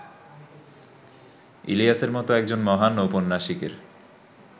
ইলিয়াসের মতো একজন মহান ঔপন্যাসিকের